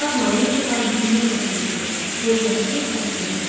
Ağ maya isə var gücü ilə qaçırdı, hey qaçır, qaçırdı.